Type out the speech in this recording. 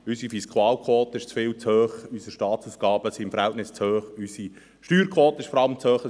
Unsere Fiskalquote ist viel zu hoch, unsere Staatsausgaben sind im Verhältnis zu hoch, und vor allem ist unsere Steuerquote zu hoch.